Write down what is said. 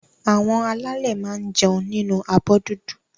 Àwọn alálè máa n jẹun nínu abọ́ dúdú.